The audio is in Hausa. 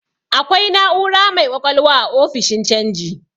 Akwai na'ura mai ƙwaƙwalwa a ofishin canji.